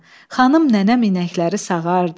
Xanım nənəm inəkləri sağardı.